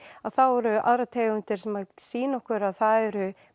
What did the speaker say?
eru aðrar tegundir sem sýna okkur að það eru